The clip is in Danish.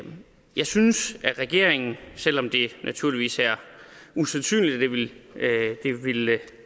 jeg synes at regeringen selv om det er naturligvis er usandsynligt at